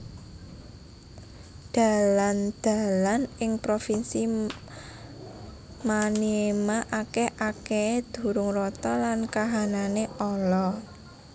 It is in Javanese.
Dalan dalan ing provinsi Maniema akèh akèhé durung rata lan kahanané ala